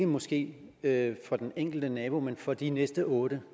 måske ikke for den enkelte nabo men for de næste otte